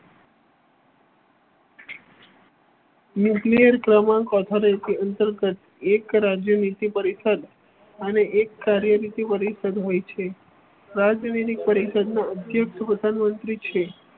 Nuclear પ્રમાણ કોથળી અંતર્ગત એક રાજ્યનીતિ પરિષદ અને એક કાર્ય ની પરિષદ હોય છે રાજ્યનીતિ પરિષદના અધ્યક્ષ પ્રધાનમંત્રી છે.